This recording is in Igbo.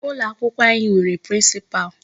Ụlọ akwụkwọ anyị nwere Principal.